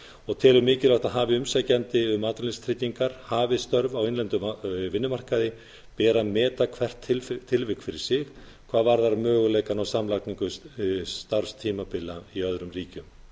og telur mikilvægt að hafi umsækjandi um atvinnuleysistryggingar hafið störf á innlendum vinnumarkaði beri að meta hvert tilvik fyrir sig hvað varðar möguleika á samlagningu starfstímabila í öðrum ríkjum